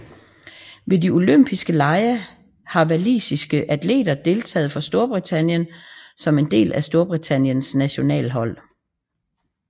Ved de olympiske lege har walisiske atleter deltaget for Storbritannien som en del af Storbritanniens nationalhold